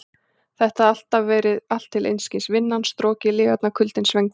Þetta hafði allt verið til einskis: Vinnan, strokið, lygarnar, kuldinn, svengdin.